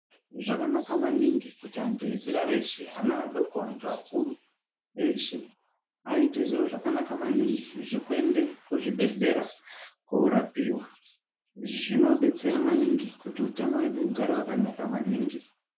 Zvakanaka maningi kuti antu ezera reshe ana adoko antu akuru, eshe aite zviro zvakanaka maningi zvekuende kuzvibhedhlera korapiwa. Izvi zvinobetsera maningi kuti utano hwedu hugare hwakanaka maningi.